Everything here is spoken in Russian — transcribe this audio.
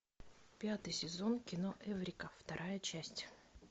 пятый сезон кино эврика вторая часть